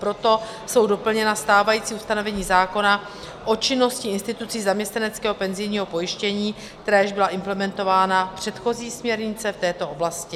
Proto jsou doplněna stávající ustanovení zákona o činnosti institucí zaměstnaneckého penzijního pojištění, která již byla implementována v předchozí směrnici v této oblasti.